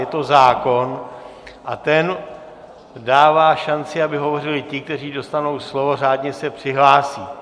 Je to zákon a ten dává šanci, aby hovořili ti, kteří dostanou slovo, řádně se přihlásí.